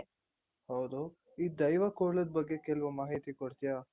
ಹೌದು ಈ ದೈವ ಕೋಲದ ಬಗ್ಗೆ ಕೆಲವು ಮಾಹಿತಿ ಕೊಡ್ತೀಯಾ?